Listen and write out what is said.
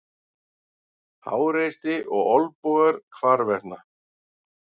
Háreysti og olnbogar hvarvetna.